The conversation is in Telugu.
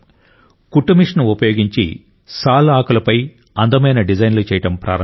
కుట్టుమిషన్ ఉపయోగించి సాల్ ఆకులపై అందమైన డిజైన్లు చేయడం ప్రారంభించారు